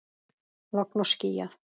Logn og skýjað.